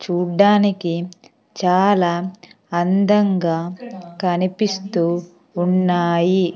చూడ్డానికి చాలా అందంగా కనిపిస్తూ ఉన్నాయి.